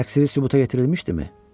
Təqsiri sübuta yetirilmişdimi?